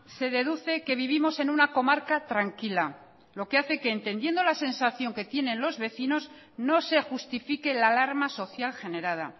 se deduce que vivimos en una comarca tranquila lo que hace que entendiendo la sensación que tienen los vecinos no se justifique la alarma social generada